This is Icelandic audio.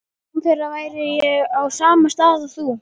Án þeirra væri ég á sama stað og þú.